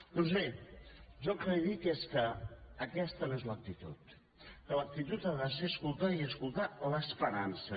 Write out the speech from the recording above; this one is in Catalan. doncs bé jo el que li dic és que aquesta no és l’actitud que l’actitud ha de ser escoltar i escoltar l’esperança